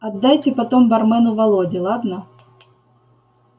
отдайте потом бармену володе ладно